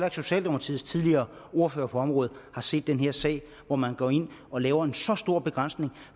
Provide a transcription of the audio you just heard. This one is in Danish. at socialdemokratiets tidligere ordfører på området har set den her sag hvor man går ind og laver en så stor begrænsning